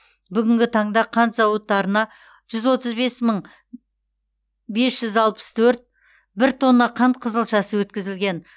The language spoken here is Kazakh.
бүгінгі таңда қант зауыттарына жүз отыз бес мың бес жүз алпыс төрт бір тонна қант қызылшасы өткізілген